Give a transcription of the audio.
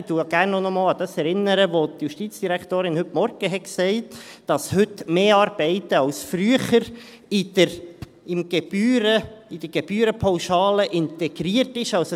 Ich erinnere gerne noch einmal an das, was die Justizdirektorin heute Morgen sagte: dass heute mehr Arbeiten als früher in der Gebührenpauschale integriert sind.